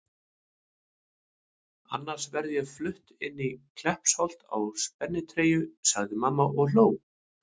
Annars verð ég flutt inn í Kleppsholt í spennitreyju sagði mamma og hló.